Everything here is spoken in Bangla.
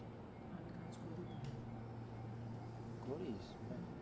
করিস বাহ